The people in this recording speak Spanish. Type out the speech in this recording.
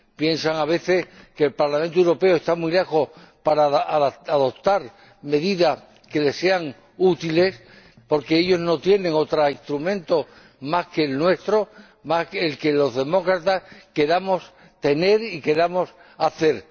Piensan a veces que el Parlamento Europeo está muy lejos para adoptar medidas que les sean útiles porque ellos no tienen otro instrumento más que el nuestro el que los demócratas queramos tener y queramos hacer.